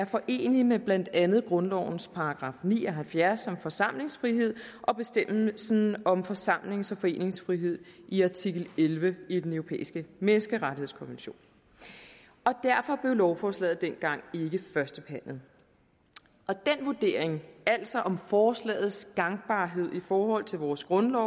forenelig med blandt andet grundlovens § ni og halvfjerds om forsamlingsfrihed og bestemmelsen om forsamlings og foreningsfrihed i artikel elleve i den europæiske menneskerettighedskonvention derfor blev lovforslaget dengang ikke førstebehandlet og den vurdering altså om forslagets gangbarhed i forhold til vores grundlov